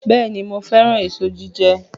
Bẹ́ẹ̀ni, mo fẹ́ràn èso jíjẹ